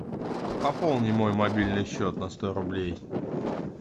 пополни мой мобильный счет на сто рублей